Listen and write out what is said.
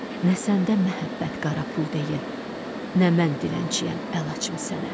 Nə səndə məhəbbət qara pul deyil, nə mən dilənçiyəm əl açım sənə.